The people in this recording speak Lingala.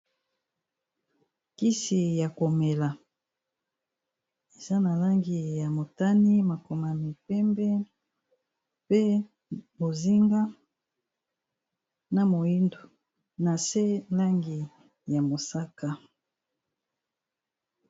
Kisi ya komela eza na langi ya motane makomami pembe pe bozinga na moyindo na se langi ya mosaka